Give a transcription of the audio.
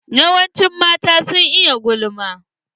Yawancin mata sun iya gulma.